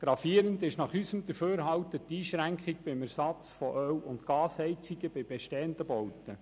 Gravierend ist nach unserem Dafürhalten die Einschränkung beim Ersatz von Öl- und Gasheizungen bei bestehenden Bauten.